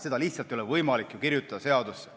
Seda lihtsalt ei ole võimalik seadusesse kirjutada.